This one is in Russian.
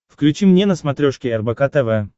включи мне на смотрешке рбк тв